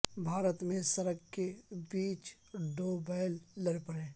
بھارت میں سڑک کے بیچ دو بیل لڑ پڑے